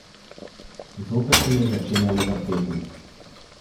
Zopet se mi je začenjalo vrteti.